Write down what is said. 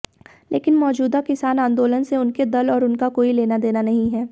लेकिन मौजूदा किसान आंदोलन से उनके दल और उनका कोई लेनादेना नहीं है